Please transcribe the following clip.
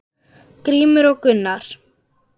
Grímur og Gunnar.